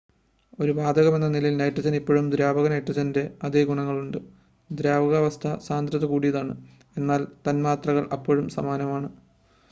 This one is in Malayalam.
ഒരു വാതകമെന്ന നിലയിൽ നൈട്രജന് ഇപ്പോഴും ദ്രാവക നൈട്രജൻ്റെ അതേ ഗുണങ്ങളുണ്ട് ദ്രാവകാവസ്ഥ സാന്ദ്രത കൂടിയതാണ് എന്നാൽ തന്മാത്രകൾ അപ്പോഴും സമാനമാണ്